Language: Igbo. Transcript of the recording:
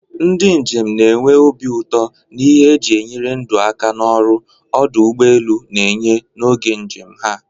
Ndị njem na-enwe obi ụtọ na ihe eji enyere ndụ aka na ọrụ ọdụ ụgbọ elu na-enye n'oge njem ha.